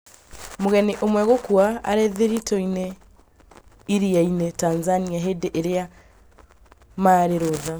Mũgeni ũmwe gũkua arĩthiritũ-inĩ iria-inĩ Tanzania hĩndĩ ĩrĩa marĩ rũtha